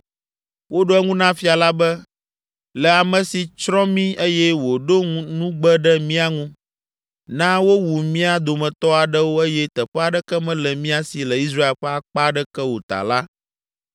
Woɖo eŋu na fia la be, “Le ame si tsrɔ̃ mí eye wòɖo nugbe ɖe mía ŋu, na wowu mía dometɔ aɖewo eye teƒe aɖeke mele mía si le Israel ƒe akpa aɖeke o ta la,